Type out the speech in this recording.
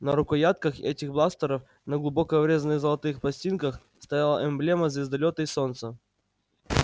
на рукоятках этих бластеров на глубоко врезанных золотых пластинках стояла эмблема звездолёта и солнца